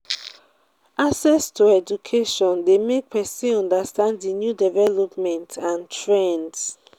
access to education de make persin understand di new development and trends